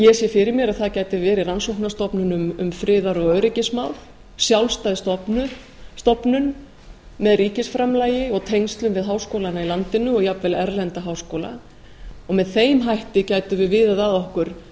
ég sé fyrir mér að það gæti verið rannsóknarstofnun um friðar og öryggismál sjálfstæð stofnun með ríkisframlagi og tengslum við háskólana í landinu og jafnvel erlenda háskóla með þeim hætti gætum við viðað að okkur